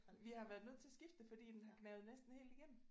Vi har været nødt til at skifte det fordi den har gnavet næsten helt igennem